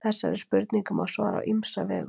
Þessari spurningu má svara á ýmsa vegu.